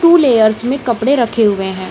To layers में कपड़े रखे हुए है।